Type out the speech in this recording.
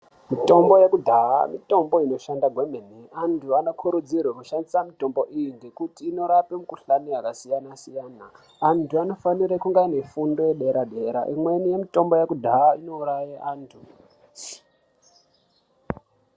Mitombo yekudhaha mitombo inoshanda kwemene antu vano kurudzirwe kushandisa mitombo iyi ngekuti inorape mi kuhlani yaka siyana siyana antu anofanira kunge aine fundo ye dera dera imweni ye mitombo yekudhaha ino uraye antu.